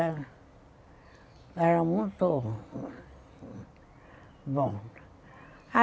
Era muito bom.